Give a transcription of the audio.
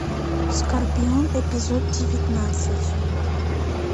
скорпион эпизод девятнадцать